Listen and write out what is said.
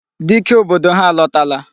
Dike obodo ha alọtala.